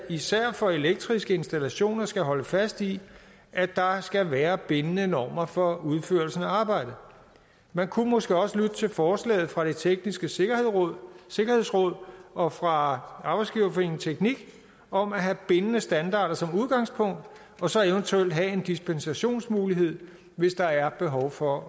især for elektriske installationer skal holde fast i at der skal være bindende normer for udførelsen af arbejdet man kunne måske også lytte til forslaget fra det tekniske sikkerhedsråd og fra arbejdsgiverforeningen tekniq om at have bindende standarder som udgangspunkt og så eventuelt have en dispensationsmulighed hvis der er behov for